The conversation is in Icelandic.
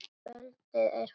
Kvöldið er fagurt.